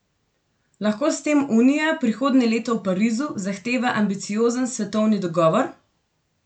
Lahko s tem Unija prihodnje leto v Parizu zahteva ambiciozen svetovni dogovor?